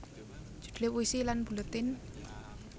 Judule Puisi lan Buletin